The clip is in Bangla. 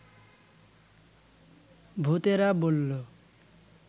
ভূতেরা বলল